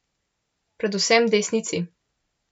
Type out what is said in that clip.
Predvsem desnici.